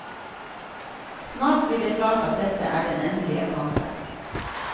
Snart blir det klart at dette er den endelige kampen.